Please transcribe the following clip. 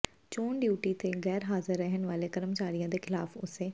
ਚੋਣ ਡਿਊਟੀ ਤੋਂ ਗੈਰ ਹਾਜ਼ਰ ਰਹਿਣ ਵਾਲੇ ਕਰਮਚਾਰੀਆਂ ਦੇ ਖਿਲਾਫ ਉਸੇ